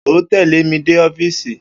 O ó tè̩lé mi dé ófíìsì!